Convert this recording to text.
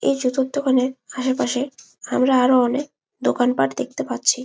এই জুতোর দোকানের আশপাশে আমরা অনকে দোকান পার্ট দেখতে পারছি।